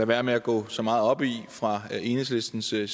være med at gå så meget op i fra enhedslisten side